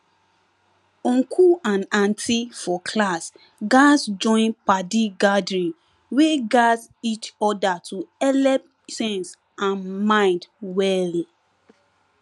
uncle and auntie for class gatz join padi gathering wey gat each other to helep sense and mind well